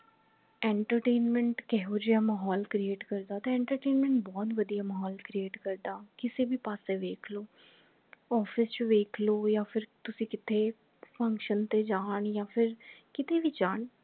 entertainment ਕਿਹੋ ਜਾ ਮਾਹੌਲ create ਕਰਦਾ ਤਾਂ entertainment ਬਹੁਤ ਵਧੀਆ ਮਾਹੌਲ create ਕਰਦਾ ਕਿਸੇ ਭੀ ਪਾਸੇ ਵੇਖ ਲੋ office ਚ ਵੇਖ ਲੋ ਯਾ ਫੇਰ ਤੁਸੀ ਕਿਥੇ function ਤੇ ਜਾਨ ਯਾ ਫੇਰ ਕੀਤੇ ਭੀ ਜਾਨ